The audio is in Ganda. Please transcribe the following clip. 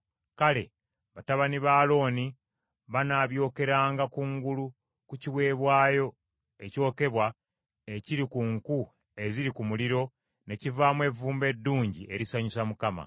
Kale batabani ba Alooni banaabyokeranga kungulu ku kiweebwayo ekyokebwa ekiri ku nku eziri ku muliro ne kivaamu evvumbe eddungi erisanyusa Mukama .